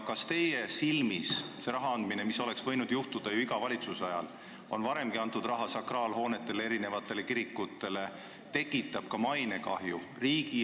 Kas teie arvates see raha andmine, mis oleks võinud ju juhtuda iga valitsuse ajal – ja on varemgi antud raha sakraalhoonete säilitamiseks –, kahjustab riigi ja kiriku mainet?